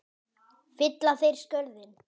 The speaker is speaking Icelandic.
Fylla þeir skörðin?